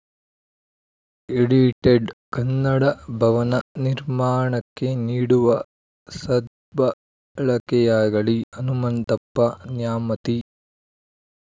edited Kannada Bhavan ನಿರ್ಮಾಣಕ್ಕೆ ನೀಡುವ ಸದ್ಬಳಕೆಯಾಗಲಿ ಹನುಮಂತಪ್ಪ ನ್ಯಾಮತಿ